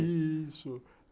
Isso...